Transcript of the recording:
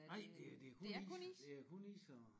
Nej det er det er kun is det er kun is og